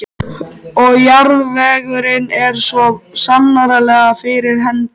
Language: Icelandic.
Og jarðvegurinn er svo sannarlega fyrir hendi.